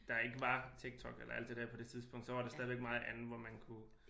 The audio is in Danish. Der ikke var TikTok eller alt det dér så var der stadig meget andet hvor man kunne